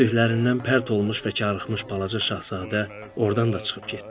Gördüklərindən pərt olmuş və karıxmış Balaca şahzadə ordan da çıxıb getdi.